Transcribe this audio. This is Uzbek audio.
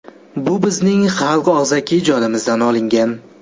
Bu bizning xalq og‘zaki ijodimizdan olingan.